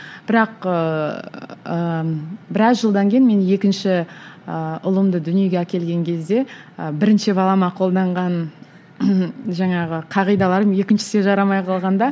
бірақ ыыы біраз жылдан кейін мен екінші ыыы ұлымды дүниеге әкелген кезде ы бірінші балама қолданған жаңағы қағидаларым екіншісіне жарамай қалғанда